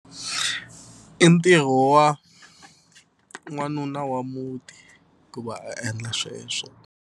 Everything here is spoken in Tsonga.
I ntirho wa n'wanuna wa muti ku va a endla sweswo.